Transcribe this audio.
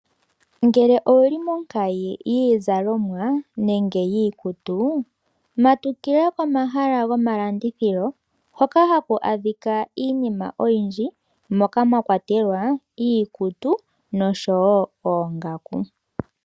Ngele owuli monkayi yiizalomwa, nenge yiikutu. Matukila komahala gomalandithilo hoka haku adhika iinima oyindji, moka mwa kwatela iikutu oshowo oongako.